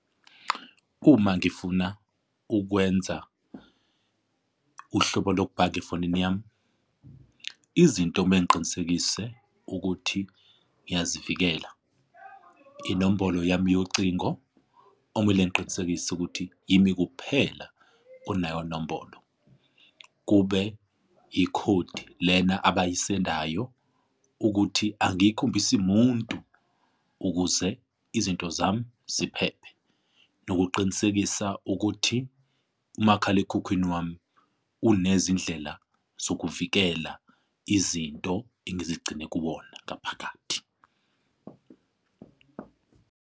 Uma ngifuna ukwenza uhlobo lokubhaga efonini yami, izinto kumele ngiqinisekise ukuthi ngiyazivikela. Inombolo yami yocingo okumele ngiqinisekise ukuthi yimi kuphela onayo nombolo. Kube ikhodi lena abayisebenzayo ukuthi angiyikhombisi muntu ukuze izinto zami ziphephe. Nokuqinisekisa ukuthi umakhalekhukhwini wami unezindlela zokuvikela izinto engizigcine kuwona ngaphakathi.